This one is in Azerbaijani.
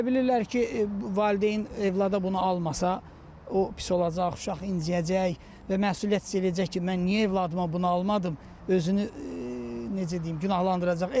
Elə bilirlər ki, valideyn övlada bunu almasa, o pis olacaq, uşaq inciyəcək və məsuliyyət hiss eləyəcək ki, mən niyə övladıma bunu almadım, özünü necə deyim, günahlandıracaq.